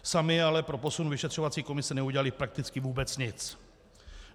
Sami ale pro posun vyšetřovací komise neudělali prakticky vůbec nic.